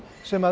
sem